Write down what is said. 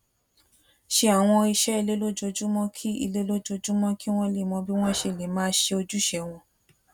ṣe àwọn iṣé ilé lójoojúmó kí ilé lójoojúmó kí wón lè mọ bí wón ṣe lè máa ṣe ojúṣe wọn